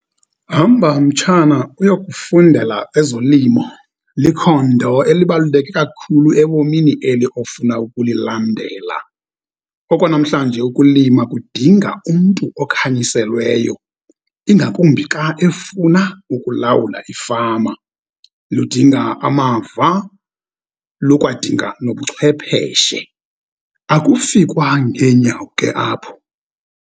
Hamba, mtshana, ukuyokufundela ezolimo likhondo elibaluleke kakhulu ebomini eli ofuna ukulilandela. Okwanamhlanje ukulima kudinga umntu okanyiselweyo, ingakumbi xa efuna ukulawula ifama. Ludinga amava, lukwadinga nobuchwepheshe. Akufikwa ngeenyawo ke apho.